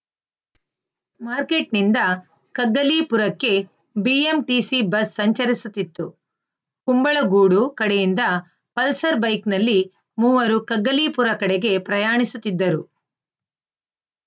ಮಾರ್ಕೆಟ್‌ನಿಂದ ಕಗ್ಗಲೀಪುರಕ್ಕೆ BMTC bus ಸಂಚರಿಸುತಿತ್ತು ಕುಂಬಳಗೂಡು ಕಡೆಯಿಂದ ಪಲ್ಸರ್‌ ಬೈಕ್ ನಲ್ಲಿ ಮೂವರು ಕಗ್ಗಲೀಪುರ ಕಡೆಗೆ ಪ್ರಯಾಣಿಸುತ್ತಿದ್ದರು